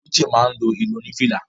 Uche máa ni lo irun oni fìlà.